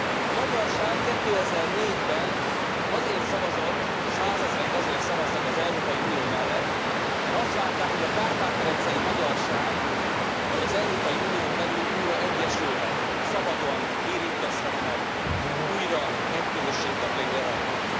A magyarság 2004 ben azért szavazott, százezrek azért szavaztak az Európai Unió mellett, mert azt várták, hogy a kárpát medencei magyarság majd az Európai Unión belül újra egyesülhet, szabadon érintkezhetnek, újra egy közösség tagjai lehetnek.